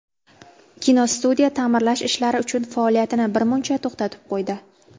Kinostudiya ta’mirlash ishlari uchun faoliyatini birmuncha to‘xtatib qo‘ydi.